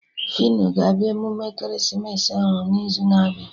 Fino ga-abịa emume ekeresimesi ahụ n'izu na-abịa